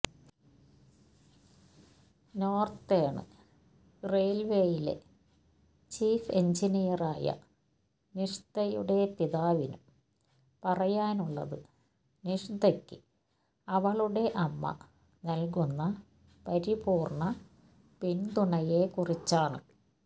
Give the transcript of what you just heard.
northern റെയില്വേയിലെ chief എന്ജിനീയറായ നിഷ്തയുടെ പിതാവിനും പറയാനുള്ളത് നിഷ്തക്ക് അവളുടെ അമ്മ നല്കുന്ന പരിപൂര്ണ്ണ പിന്തുണയെക്കുറിച്ചാണ്